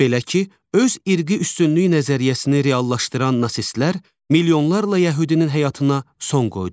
Belə ki, öz irqi üstünlük nəzəriyyəsini reallaşdıran nasistlər milyonlarla yəhudinin həyatına son qoydular.